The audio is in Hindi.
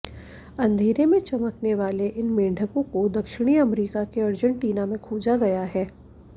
अंधेरे में चमकने वाले इन मेंढकों को दक्षिणी अमरीका के अर्जेंटीना में खोजा गया है